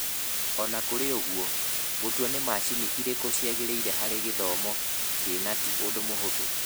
O na kũrĩ ũguo, gũtua nĩ macini irĩkũ ciagĩrĩire harĩ gĩthomo kĩna ti ũndũ mũhũthũ.